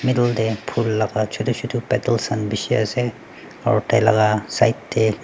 middle teh phul laga chotu chotu pedal khan bishi ase aru tai laga side teh--